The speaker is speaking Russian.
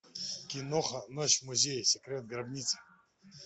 киноха ночь в музее секрет гробницы